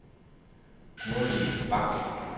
Gurli Bach